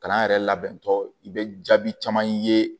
Kalan yɛrɛ labɛntɔ i bɛ jaabi caman ye